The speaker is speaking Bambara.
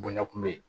Bonɲa kun be yen